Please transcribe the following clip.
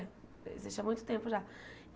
Existe há muito tempo já.